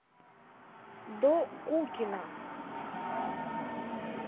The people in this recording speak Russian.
докукина